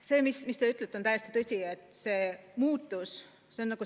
See, mis te ütlete, on täiesti tõsi.